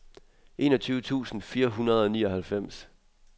enogtyve tusind fire hundrede og nioghalvfems